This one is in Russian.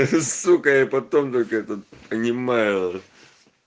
ахаха сука я потом только это понимаю нах